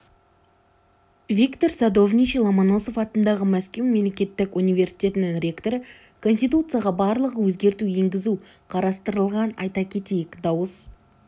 виктор садовничий ломоносов атындағы мәскеу мемлекеттік университетінің ректоры конституцияға барлығы өзгерту енгізу қарастырылған айта кетейік дауыс